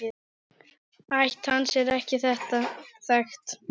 Ætt hans er ekki þekkt.